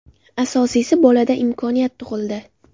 Asosiysi bolada imkoniyat tug‘ildi.